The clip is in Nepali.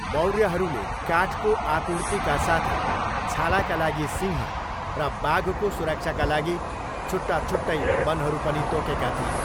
मौर्यहरूले काठको आपूर्तिका साथै छालाका लागि सिंह र बाघको सुरक्षाका लागि छुट्टा छुट्टै बनहरू पनि तोकेका थिए।